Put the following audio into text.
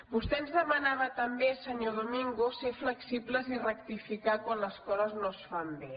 vostè ens demanava també senyor domingo ser flexibles i rectificar quan les coses no es fan bé